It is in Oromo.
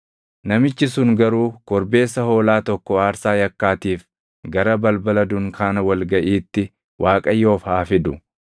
Namichi sun garuu korbeessa hoolaa tokko aarsaa yakkaatiif gara balbala dunkaana wal gaʼiitti Waaqayyoof haa fidu.